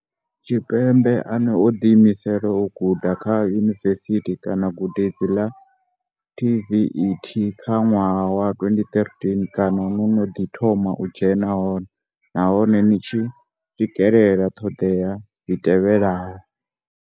Tshipembe ane o ḓiimisela u guda kha yunivesithi kana gudedzi ḽa TVET kha ṅwaha wa 2023 kana no no ḓi thoma u dzhena hone nahone ni tshi swikelela ṱhoḓea dzi tevhelaho.